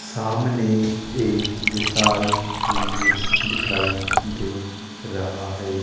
सामने एक विशाल मंदिर दिखाई दे रहा है।